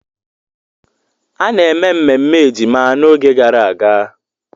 A na-eme mmemme ejima n'oge gara aga.